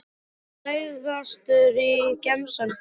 Frægastur í gemsanum þínum?